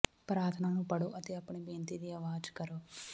ਪ੍ਰਾਰਥਨਾ ਨੂੰ ਪੜ੍ਹੋ ਅਤੇ ਆਪਣੀ ਬੇਨਤੀ ਦੀ ਅਵਾਜ਼ ਕਰੋ